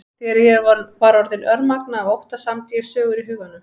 Þegar ég var orðin örmagna af ótta samdi ég sögur í huganum.